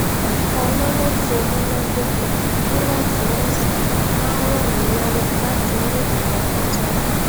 nnkan lọnà tó múnádóko níwòntúnwònsì máa ń ràn mí lówó láti ní ìfọkàntánni